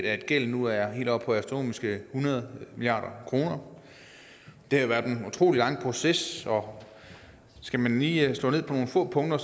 at gælden nu er helt oppe på astronomiske hundrede milliard kroner det har været en utrolig lang proces og skal man lige slå ned på nogle få punkter